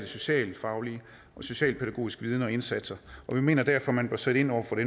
socialfaglig og socialpædagogisk viden og indsatser og vi mener derfor man bør sætte ind over for